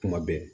Kuma bɛɛ